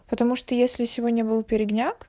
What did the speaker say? потому что если сегодня был передняк